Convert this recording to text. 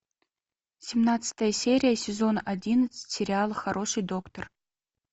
семнадцатая серия сезон одиннадцать сериала хороший доктор